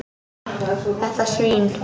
Þetta svín.